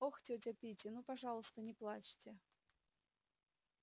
ох тётя питти ну пожалуйста не плачьте